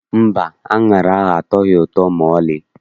Mba, aṅara ahụ atọghị ụtọ maọlị.